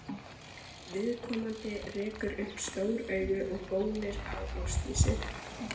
Viðkomandi rekur upp stór augu og gónir á Ásdísi.